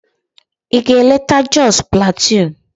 Ị ga-eleta Jos Plateau?